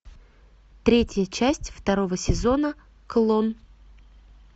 третья часть второго сезона клон